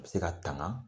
A bɛ se ka tanga